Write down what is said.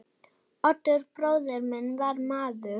Oddur bróðir minn var maður.